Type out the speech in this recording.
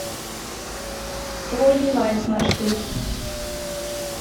твой девайс маршрут